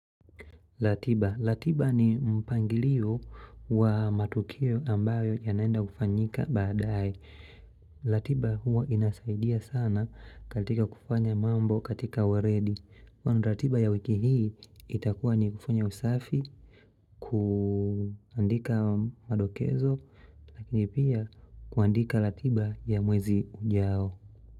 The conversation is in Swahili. Ratiba, ratiba ni mpangilio wa matukio ambayo yanaenda kufanyika baadae. Ratiba huwa inasaidia sana katika kufanya mambo katika weledi. Kwa ratiba ya wiki hii itakuwa ni kufanya usafi kuandika madokezo na pia kuandika ratiba ya mwezi ujao.